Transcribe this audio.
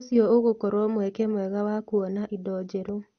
ũcio ũgũkorwo mweke mwega wa kuonaa indo njerũ.